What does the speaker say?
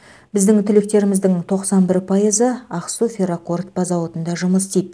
біздің түлектеріміздің тоқсан бір пайызы ақсу ферроқорытпа зауытында жұмыс істейді